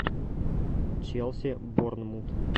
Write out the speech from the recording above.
челси борнмут